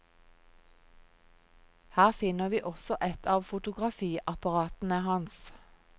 Her finner vi også et av fotografiapparatene hans.